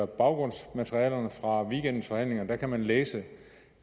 baggrundsmaterialet fra weekendens forhandlinger kan man læse